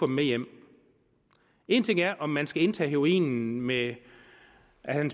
med hjem en ting er om man skal indtage heroinen med